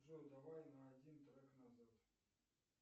джой давай на один трек назад